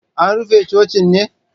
An rufe cocin ne?